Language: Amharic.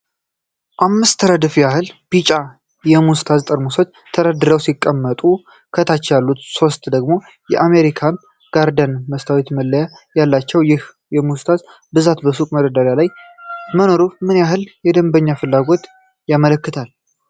አምስት ረድፍ ያህል ቢጫ የሙስታርድ ጠርሙሶች ተደራርበው ሲቀመጡ፣ ከታች ያሉት ሶስቱ ደግሞ የአሜሪካን ጋርደን ሙስታርድ መለያ ያላቸው፣ ይህ የሙስታርድ ብዛት በሱቅ መደርደሪያ ላይ መኖሩ ምን ያህል የደንበኛ ፍላጎትን ያመለክታል?